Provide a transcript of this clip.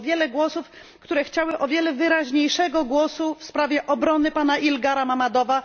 było wiele głosów, które domagały się o wiele wyraźniejszego głosu w sprawie obrony pana Ilgara Mammadova.